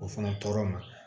O fana tɔɔrɔ ma